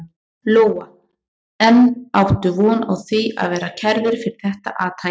Lóa: En áttu von á því að verða kærður fyrir þetta athæfi?